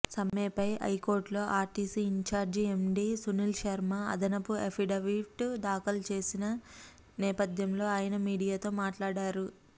సమ్మెపై హైకోర్టులో RTC incharge MD Sunil Sharma అదనపు affidavit దాఖలు చేసిన నేపథ్యంలో ఆయన మీడియాతో మాట్లాడారు